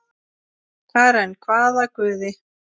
Karen: hvaða guði?